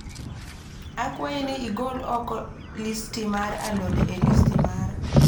Akwayi ni igol oko listi mar alode e listi mara